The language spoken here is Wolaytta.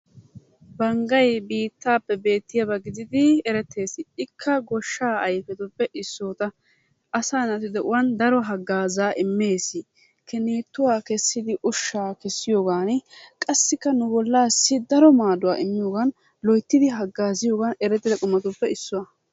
banggay biittappe beettiyaaba gidid erettees. ikka goshsha ayfetuppe issotaa. asaa naatu de'uwan daro hagaazza immees. Kinituwaa kessidi ushshaa kessiyoogan qassikka nu bollassi daro maadduwa immiyoogan loyttidi hagaazziyoogan erettida qumatuppe issuwaa.